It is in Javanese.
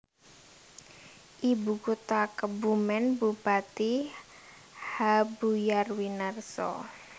Ibu kota KebumenBupati H Buyar Winarso